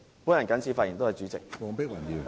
我謹此發言，多謝主席。